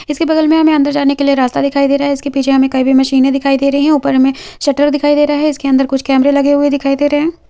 उसके बगल में हमें अंदर जाने के लिए रास्ता दिखाई रहा हैं उसके पीछे एक मशीने ने दिखई दे रही है ऊपर हमे सटल दिख रहा है उसके अंदर कैमरे दिखाई रहा हैं।